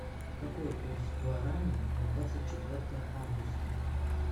какой курс гуарани на двадцать четвертое августа